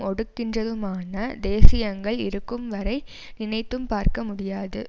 ஒடுக்குகின்றதுமான தேசியங்கள் இருக்கும் வரை நினைத்தும் பார்க்க முடியாது